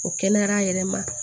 O kɛnɛyara yɛrɛ ma